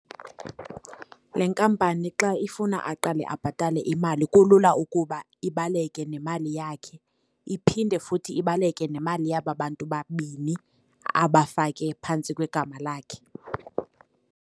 Le nkampani xa ifuna aqale abhatale imali kulula ukuba ibaleke nemali yakhe, iphinde futhi ibaleke nemali yaba bantu babini abafake phantsi kwegama lakhe.